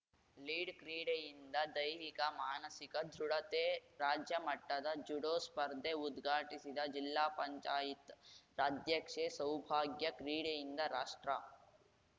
lead ಕ್ರೀಡೆಯಿಂದ ದೈಹಿಕ ಮಾನಸಿಕ ದೃಢತೆ ರಾಜ್ಯ ಮಟ್ಟದ ಜುಡೋ ಸ್ಪರ್ಧೆ ಉದ್ಘಾಟಿಸಿದ ಜಿಲ್ಲಾ ಪಂಚಾಯತ್ ಅಧ್ಯಕ್ಷೆ ಸೌಭಾಗ್ಯ ಕ್ರೀಡೆಯಿಂದ ರಾಷ್ಟ್ರ